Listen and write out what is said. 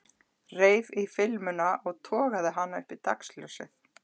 Reif í filmuna og togaði hana upp í dagsljósið.